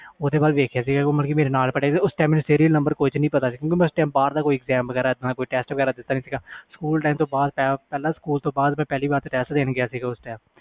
ਓਹਦੇ ਵਾਲ ਦੇਖ ਕੇ ਮੇਰੇ ਨਾਲ ਪੜਿਆ ਸੀ ਮੇਰੇ ਨੰਬਰ ਕੁਛ ਨਹੀਂ ਪਤਾ ਸੀ ਕਿਉਕਿ ਉਸ ਬਹਾਰ ਦਾ exam ਵੇਗਰਾ ਨਾ ਕੋਈ ਟੈਸਟ ਵੇਗਰਾ ਨਹੀਂ ਦਿੱਤਾ ਸਕੂਲ ਤੋਂ ਬਾਅਦ ਤੇ ਪਹਿਲੀ ਵਾਰ ਟੈਸਟ ਦੇਣ ਗਿਆ ਸੀ